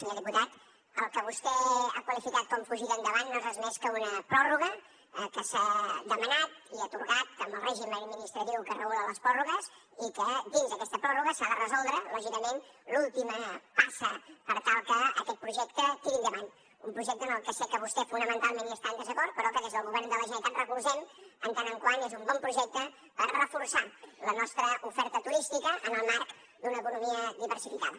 senyor diputat el que vostè ha qualificat com a fugida endavant no és res més que una pròrroga que s’ha demanat i atorgat amb el règim administratiu que regula les pròrrogues i que dins d’aquesta pròrroga s’ha de resoldre lògicament l’última passa per tal que aquest projecte tiri endavant un projecte en el que sé que vostè fonamentalment està en desacord però que des del govern de la generalitat recolzem en tant que és un bon projecte per reforçar la nostra oferta turística en el marc d’una economia diversificada